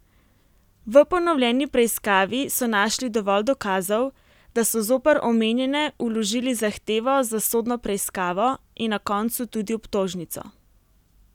V ponovljeni preiskavi so našli dovolj dokazov, da so zoper omenjene vložili zahtevo za sodno preiskavo in na koncu tudi obtožnico.